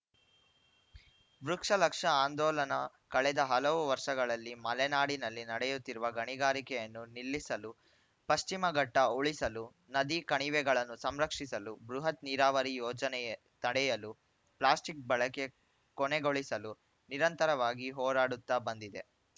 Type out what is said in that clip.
ವೃಕ್ಷ ಲಕ್ಷ ಆಂದೋಲನ ಕಳೆದ ಹಲವು ವರ್ಷಗಳಲ್ಲಿ ಮಲೆನಾಡಿನಲ್ಲಿ ನಡೆಯುತ್ತಿರುವ ಗಣಿಗಾರಿಕೆಯನ್ನು ನಿಲ್ಲಿಸಲು ಪಶ್ಚಿಮಘಟ್ಟಉಳಿಸಲು ನದಿ ಕಣಿವೆಗಳನ್ನು ಸಂರಕ್ಷಿಸಲು ಬೃಹತ್‌ ನೀರಾವರಿ ಯೋಜನೆಎ ತಡೆಯಲು ಪ್ಲಾಸ್ಟಿಕ್‌ ಬಳಕೆ ಕೊನೆಗೊಳಿಸಲು ನಿರಂತರವಾಗಿ ಹೋರಾಡುತ್ತಾ ಬಂದಿದೆ